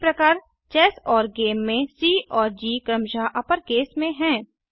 इसी प्रकार चेस और गेम के सी और जी क्रमशः अपरकेस में हैं